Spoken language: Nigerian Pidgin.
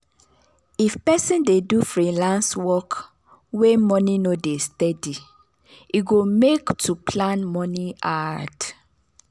if person dey do freelance work wey money no dey steady e go make to plan moni hard.